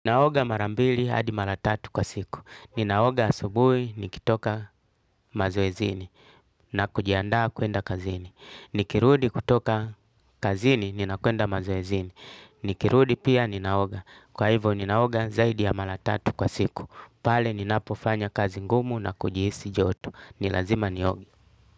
Naoga mara mbili hadi mara tatu kwa siku. Ninaoga asubuhi nikitoka mazoezini na kujiandaa kuenda kazini. Nikirudi kutoka kazini ninakwenda mazoezini. Nikirudi pia ninaoga. Kwa hivyo ninaoga zaidi ya mara tatu kwa siku. Pale ninapofanya kazi ngumu na kujihisi joto. Ni lazima nioge.